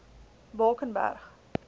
bakenberg